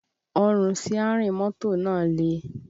Ọrùn síárìn mọ́tò náà le